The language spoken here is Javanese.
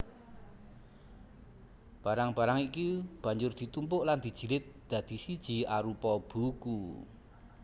Barang barang iki banjur ditumpuk lan dijilid dadi siji arupa buku